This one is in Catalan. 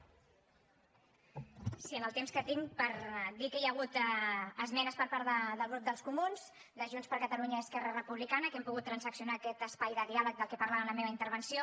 sí el temps que tinc per dir que hi ha hagut esmenes per part del grup dels comuns de junts per catalunya i esquerra republicana que hem pogut transaccionar aquest espai de diàleg del que parlava en la meva intervenció